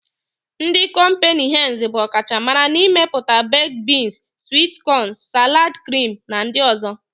Ndị kọmpịnị henz bụ ọ kacha mara n'imepụta bekd biins, swit kọn, salad krim na ndị ọ̀zọ́.